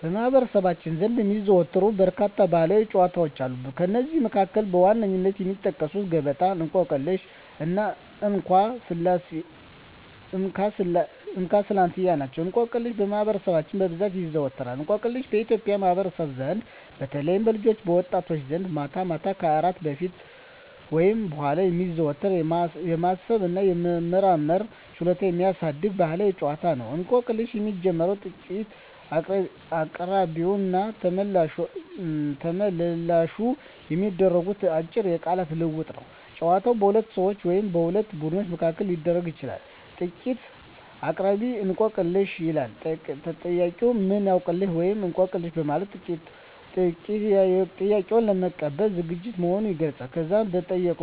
በማኅበረሰባችን ዘንድ የሚዘወተሩ በርካታ ባሕላዊ ጨዋታዎች አሉ። ከእነዚህም መካከል በዋነኝነት የሚጠቀሱት ገበጣ፣ እንቆቅልሽ እና እንካ ስላንትያ ናቸው። እንቆቅልሽ በማህበረሰባችን በብዛት ይዘዎተራል። እንቆቅልሽ በኢትዮጵያ ማኅበረሰብ ዘንድ በተለይም በልጆችና በወጣቶች ዘንድ ማታ ማታ ከእራት በፊት ወይም በኋላ የሚዘወተር፣ የማሰብ እና የመመራመር ችሎታን የሚያሳድግ ባሕላዊ ጨዋታ ነው። እንቆቅልሽ የሚጀምረው ጥያቄ አቅራቢውና ተመልላሹ በሚያደርጉት አጭር የቃላት ልውውጥ ነው። ጨዋታው በሁለት ሰዎች ወይም በሁለት ቡድኖች መካከል ሊደረግ ይችላል። ጥያቄ አቅራቢ፦ "እንቆቅልህ/ሽ?" ይላል። ተጠያቂው፦ "ምን አውቅልህ?" (ወይም "አውቅልሽ") በማለት ጥያቄውን ለመቀበል ዝግጁ መሆኑን ይገልጻል። ከዛም መጠየቅ